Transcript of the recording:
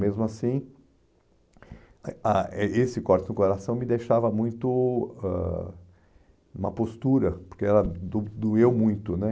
Mesmo assim, ah eh esse corte no coração me deixava muito ãh... uma postura, porque ela do doeu muito, né?